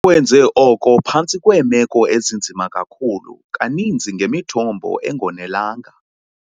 Bakwenze oko phantsi kweemeko ezinzima kakhulu, kaninzi ngemithombo engonelanga.